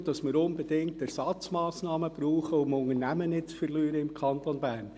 Wir brauchen unbedingt Ersatzmassnahmen, um im Kanton Bern keine Unternehmen zu verlieren.